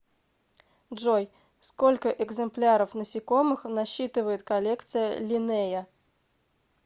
джой сколько экземпляров насекомых насчитывает коллекция линнея